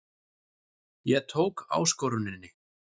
Ég tók áskoruninni.